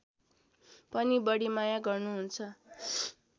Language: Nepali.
पनि बढी माया गर्नुहुन्छ